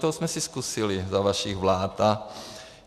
To jsme si zkusili za vašich vlád.